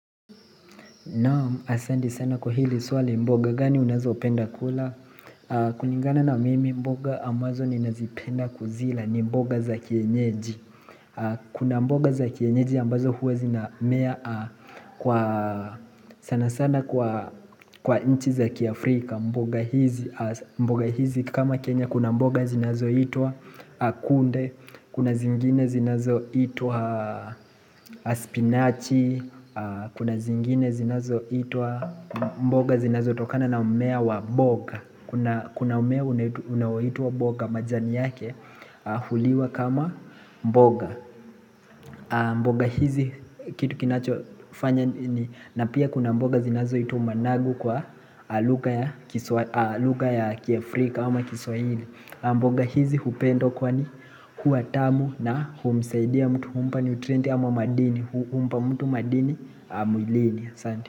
Naam, asanti sana kwa hili swali mboga, gani unazo penda kula? Kulingana na mimi mboga ambazo ninazipenda kuzila ni mboga za kienyeji. Kuna mboga za kienyeji ambazo huwe zinamea sana sana kwa nchi za kiafrika. Mboga hizi kama Kenya, kuna mboga zinazoitwa kunde, Kuna zingine zinazoitwa spinachi Kuna zingine zinazoitwa mboga zinazo tokana na mmea wa mboga Kuna mmea unawaita boga majani yake huliwa kama mboga mboga hizi kitu kinachofanya ni Napia kuna mboga zinazoitwa managu kwa lugha ya kiafrika ama kiswahili mboga hizi hupendwa kwa ni hua tamu na humsaidia mtu humpa nutrient ama madini humpa mtu madini mwilini asanti.